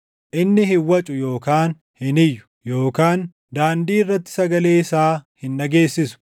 Inni hin wacu yookaan hin iyyu; yookaan daandii irratti sagalee isaa hin dhageessisu.